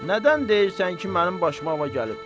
Nədən deyirsən ki, mənim başıma var gəlib?